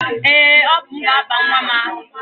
Ee, ọ bụ m ga-aba nwa m aha.